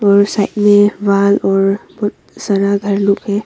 और साइड में वॉल और बहुत सारा घर लोग है।